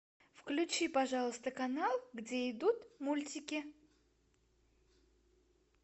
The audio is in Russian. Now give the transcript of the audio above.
включи пожалуйста канал где идут мультики